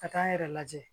Ka taa n yɛrɛ lajɛ